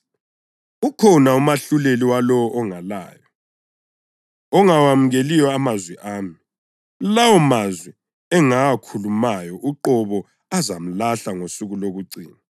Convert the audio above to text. Ukhona umahluleli walowo ongalayo, ongawemukeliyo amazwi ami; lawomazwi engawakhulumayo uqobo azamlahla ngosuku lokucina.